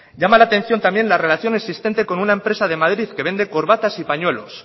llama la atención también la relación existente con una empresa de madrid que vende corbatas y pañuelos